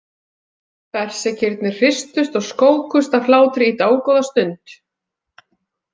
Berserkirnir hristust og skókust af hlátri í dágóða stund.